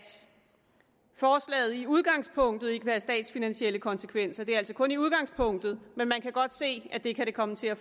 forslaget i udgangspunktet ikke vil have statsfinansielle konsekvenser det er altså kun i udgangspunktet men man kan godt se at det kan det komme til at